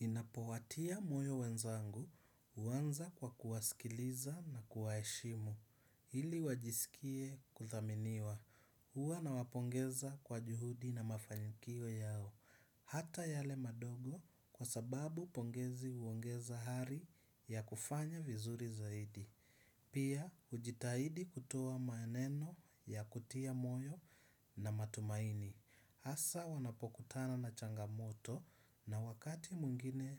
Ninapowatia moyo wenzangu uwanza kwa kuwasikiliza na kuwaeshimu ili wajisikie kuthaminiwa uwa nawapongeza kwa juhudi na mafanyikio yao. Hata yale madogo kwa sababu pongezi uongeza hari ya kufanya vizuri zaidi. Pia ujitahidi kutoa maeneno ya kutia moyo na matumaini. Asa wanapokutana na changamoto na wakati mwingine